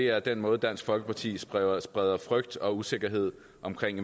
er den måde dansk folkeparti spreder spreder frygt og usikkerhed om